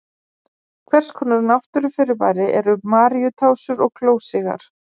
Hvers konar náttúrufyrirbæri eru Maríutásur og klósigar?